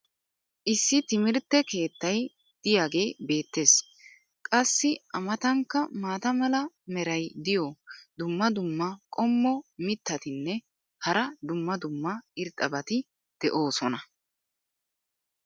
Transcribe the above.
issi timmirtte keettay diyaagee beetees. qassi a matankka maata mala meray diyo dumma dumma qommo mitattinne hara dumma dumma irxxabati de'oosona.